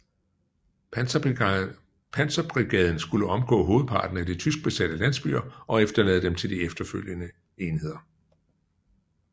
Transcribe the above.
Panserbrigaden skulle omgå hovedparten af de tyskbesatte landsbyer og efterlade dem til de følgende enheder